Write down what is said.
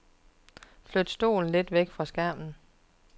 Flyt stolen lidt væk fra skærmen.